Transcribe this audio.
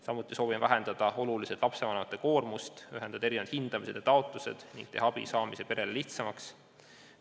Samuti soovime oluliselt vähendada lapsevanemate koormust, ühendada erinevad hindamised ja taotlused ning teha abi saamine perele lihtsamaks.